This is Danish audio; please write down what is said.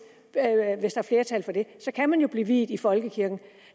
så kan man jo blive viet i folkekirken